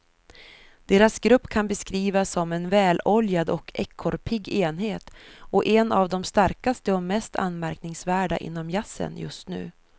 Deras grupp kan beskrivas som en väloljad och ekorrpigg enhet och en av de starkaste och mest anmärkningsvärda inom jazzen just nu.